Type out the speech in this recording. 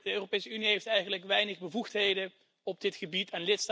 De Europese Unie heeft eigenlijk weinig bevoegdheden op dit gebied.